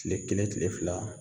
Tile kelen tile fila